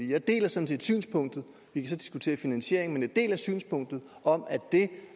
jeg deler sådan set synspunktet vi kan så diskutere finansieringen men jeg deler synspunktet om at det